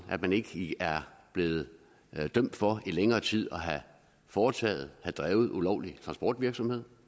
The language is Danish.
at man ikke i er blevet dømt for i længere tid at have foretaget eller drevet ulovlig transportvirksomhed